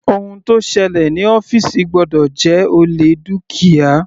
Ohun tó ṣẹlẹ̀ ní ọ́fìsì gbọ́dọ̀ jẹ́ olè dúkìá.